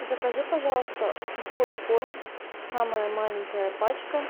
закажи пожалуйста сухой корм самая маленькая пачка